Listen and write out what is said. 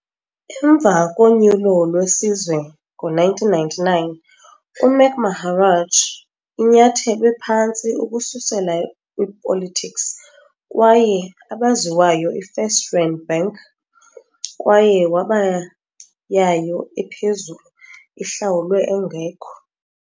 Emva konyulo lwesizwe ngo-1999, Mac Maharaj inyathelwe phantsi ukususela kwipolitics kwaye abaziwayo First Rand Bank kwaye waba yayo ephezulu ihlawulwe engekho.